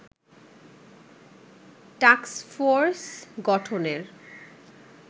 task force গঠনের